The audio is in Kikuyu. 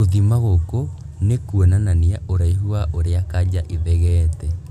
Gũthima gũkũ nĩ kuonanania ũraihu wa ũrĩa kanja ĩthegeete